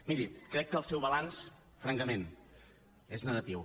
miri crec que el seu balanç francament és negatiu